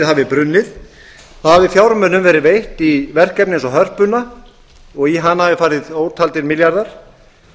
hafi brunnið hafi fjármunum verið veitt í verkefni eins og hörpu og í hana hafi farið ótaldir milljarðar